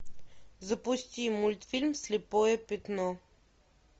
запусти мультфильм слепое пятно